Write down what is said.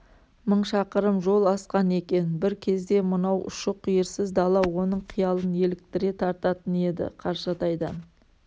мың шақырым жол асқан екен бір кезде мынау ұшы-қиырсыз дала оның қиялын еліктіре тартатын еді қаршадайдан